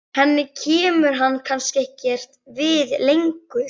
Henni kemur hann kannski ekkert við lengur.